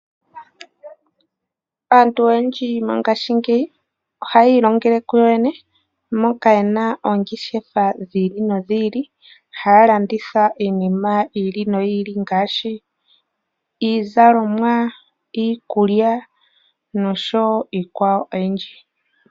Aantu oyendji mongashingeyi ohayi ilongele kuyo yene moka yena oongeshefa dhiili nodhiili, haya landitha iinima yiili noyiili ngaashi iizalomwa, iikulya noshowo iikwawo oyindji.